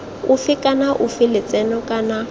ofe kana ofe lotseno kana